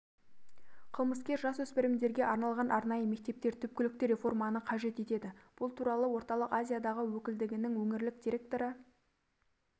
қылмыскер жасөспірімдерге арналған арнайы мектептер түпкілікті реформаны қажет етеді бұл туралы орталық азиядағы өкілдігінің өңірлік директоры